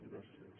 gràcies